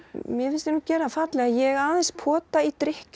mér finnst ég nú gera það fallega ég aðeins pota í